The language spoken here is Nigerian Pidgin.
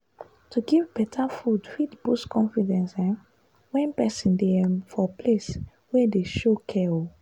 to give better food fit boost confidence um when person dey um for place wey dem show care. um